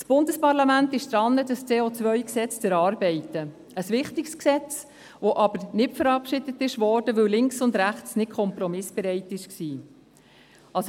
Das Bundesparlament ist daran, das COGesetz zu erarbeiten – ein wichtiges Gesetz, das aber nicht verabschiedet wurde, weil Links und Rechts nicht kompromissbereit waren.